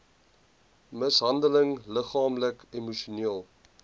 mishandeling liggaamlik emosioneel